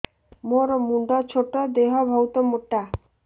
ମୋର ମୁଣ୍ଡ ଛୋଟ ଦେହ ବହୁତ ମୋଟା